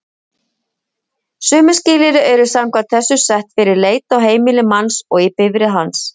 Sömu skilyrði eru samkvæmt þessu sett fyrir leit á heimili manns og í bifreið hans.